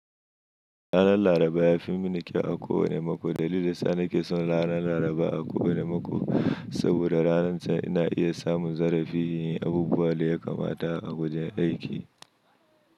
Ranar Laraba ya fi mun kyau a ko wane mako. Dalilin sa ni ke son ranar Laraba a kowane mako saboda ranar can ina iya samun zarafi yin abubuwan da ya kamata a wajen aiki.